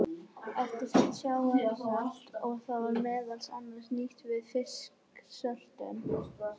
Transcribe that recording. Eftir sat sjávarsalt og var það meðal annars nýtt við fisksöltun.